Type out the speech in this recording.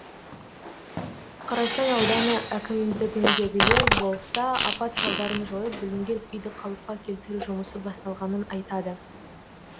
қарасай ауданы әкімдігіндегілер болса апат салдарын жойып бүлінген үйді қалыпқа келтіру жұмысы басталғанын айтады